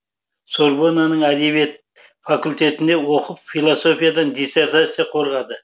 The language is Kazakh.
сорбоннаның әдебиет факультетінде оқып философиядан диссертация қорғады